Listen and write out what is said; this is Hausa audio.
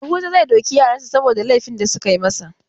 Yahuza zai doki yaran sa saboda laifi da suka yi masa.